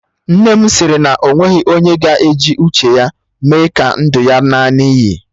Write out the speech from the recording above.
Nna m sịrị na o nweghị onye ga-eji uche ya mee ka ndụ ya ṅaa n'iyi